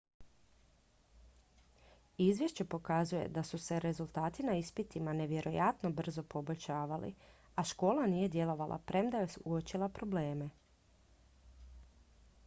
izvješće pokazuje da su se rezultati na ispitima nevjerojatno brzo poboljšavali a škola nije djelovala premda je uočila probleme